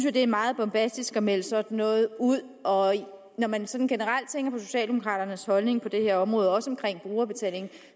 at det er meget bombastisk at melde sådan noget ud og når man sådan generelt tænker på socialdemokraternes holdning på det her område også omkring brugerbetaling